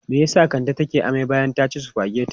Me ya sa Kande take amai bayan ta ci sufagetin?